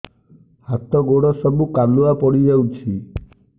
ହାତ ଗୋଡ ସବୁ କାଲୁଆ ପଡି ଯାଉଛି